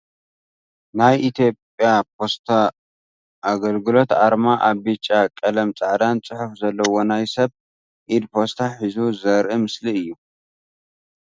ናይ ኢትዮጽያ ፖስታ አገልግሎት ኣርማ ኣብ ቢጫ ቀለም ፃዕዳን ፅሑፍ ዘለዎ ናይ ሰብ ኢድ ፖስታ ሒዙ ዘርኢ ምስሊ እዩ ።